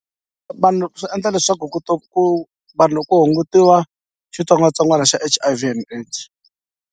Va vanhu swi endla leswaku ku ta ku vanhu loko hungutiwa xitsongwatsongwana xa H_I_V and AIDS.